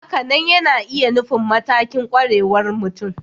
Hakanan yana iya nufin matakin ƙwarewar mutum